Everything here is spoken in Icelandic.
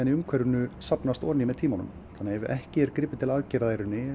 í umhverfinu safnast ofan í með tímanum þannig að ef ekki er gripið til aðgerða